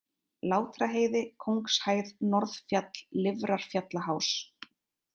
Látraheiði, Kóngshæð, Norðfjall, Lifrarfjallaháls